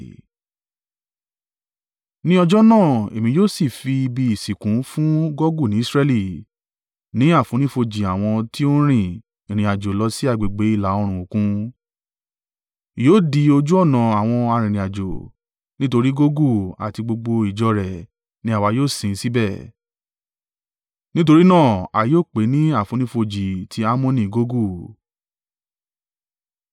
“ ‘Ní ọjọ́ náà èmi yóò sì fi ibi ìsìnkú fún Gogu ní Israẹli, ni àfonífojì àwọn ti ó rìn ìrìnàjò lọ sí agbègbè ilà oòrùn Òkun. Yóò di ojú ọ̀nà àwọn arìnrìn-àjò, nítorí Gogu àti gbogbo ìjọ rẹ̀ ni àwa yóò sin síbẹ̀. Nítorí náà, a yóò pè é ní àfonífojì tí Ammoni Gogu.